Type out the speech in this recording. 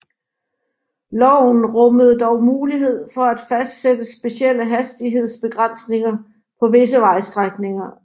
Loven rummede dog mulighed for at fastsætte specielle hastighedsbegrænsninger på visse vejstrækninger